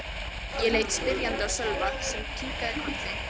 Ég leit spyrjandi á Sölva sem kinkaði kolli.